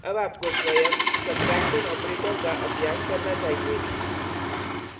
अब आपको स्वयं सब्ट्रैक्शन operator का अभ्यास करना चाहिए